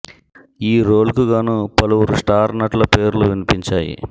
ఈ రోల్ కు గాను పలువురు స్టార్ నటుల పేర్లు వినిపించాయి